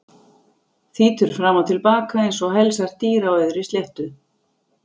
Þýtur fram og til baka einsog helsært dýr á auðri sléttu.